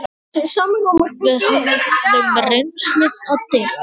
Við höfðum reynslu að deila.